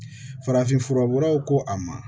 Farafinfura wɛrɛw ko a ma